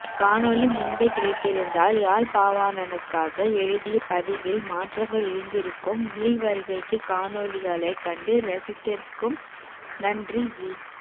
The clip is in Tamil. காணொளி முன்பே கிடைத்திருந்தால் யாழ்பாவாணனுக்காக எழுதுய பதிவில் மாற்றங்கள் இருந்திருக்கும் மீள்வருகைக்கு காணொளிகளைக் கண்டு ரசித்ததற்கும் நன்றி ஜி